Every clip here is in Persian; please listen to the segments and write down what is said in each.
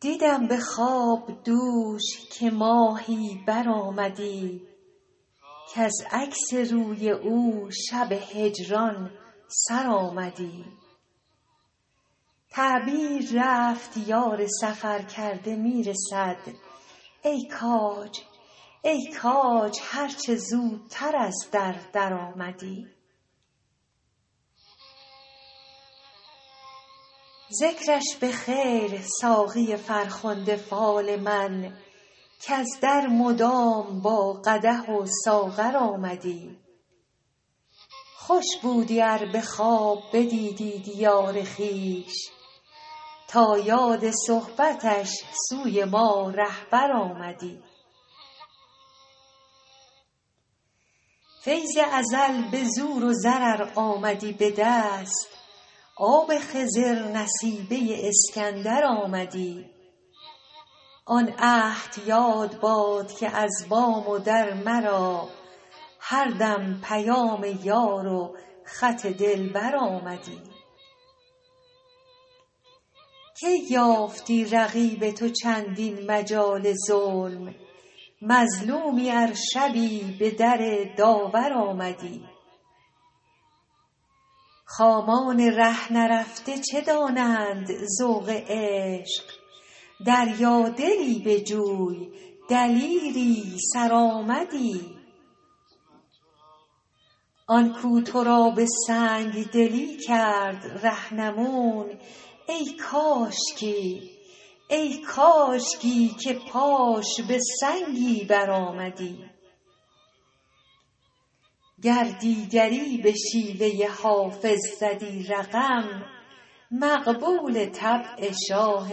دیدم به خواب دوش که ماهی برآمدی کز عکس روی او شب هجران سر آمدی تعبیر رفت یار سفرکرده می رسد ای کاج هر چه زودتر از در درآمدی ذکرش به خیر ساقی فرخنده فال من کز در مدام با قدح و ساغر آمدی خوش بودی ار به خواب بدیدی دیار خویش تا یاد صحبتش سوی ما رهبر آمدی فیض ازل به زور و زر ار آمدی به دست آب خضر نصیبه اسکندر آمدی آن عهد یاد باد که از بام و در مرا هر دم پیام یار و خط دلبر آمدی کی یافتی رقیب تو چندین مجال ظلم مظلومی ار شبی به در داور آمدی خامان ره نرفته چه دانند ذوق عشق دریادلی بجوی دلیری سرآمدی آن کو تو را به سنگ دلی کرد رهنمون ای کاشکی که پاش به سنگی برآمدی گر دیگری به شیوه حافظ زدی رقم مقبول طبع شاه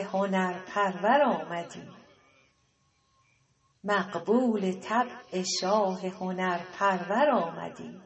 هنرپرور آمدی